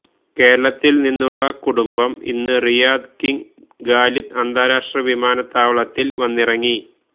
കേരളത്തിൽ നിന്നുള്ള കുടുംബം ഇന്ന് റിയാദ് കിംഗ് ഖാലിദ് അന്താരാഷ്ട്ര വിമാനത്താവളത്തിൽ വന്നിറങ്ങി